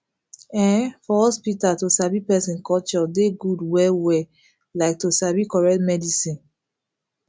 em for hospital to sabi person culture dey good well well like to sabi correct medicine